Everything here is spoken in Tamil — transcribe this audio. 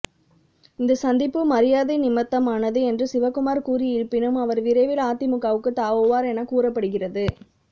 இந்த சந்திப்பு மரியாதை நிமித்தமானது என்று சிவகுமார் கூறியிருப்பினும் அவர் விரைவில் அதிமுகவுக்கு தாவுவார் என கூறப்படுகிறது